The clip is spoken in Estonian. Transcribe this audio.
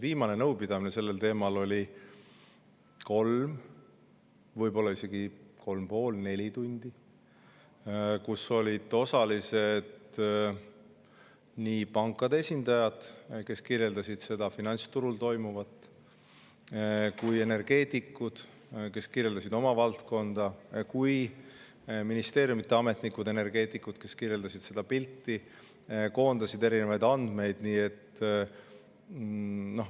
Viimane nõupidamine sellel teemal 3, võib-olla isegi 3,5–4 tundi ja selle osalised olid nii pankade esindajad, kes kirjeldasid finantsturul toimuvat, energeetikud, kes kirjeldasid oma valdkonda, kui ka ministeeriumide ametnikud, energeetikud, kes kirjeldasid seda pilti ja koondasid erinevaid andmeid.